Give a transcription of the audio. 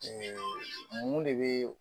mun de bɛ